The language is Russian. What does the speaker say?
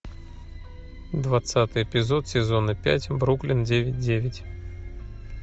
двадцатый эпизод сезона пять бруклин девять девять